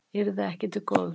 Yrði ekki til góðs